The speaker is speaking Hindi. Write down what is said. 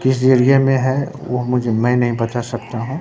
किस एरिया में है वह मुझे मैं नहीं बता सकता हूं।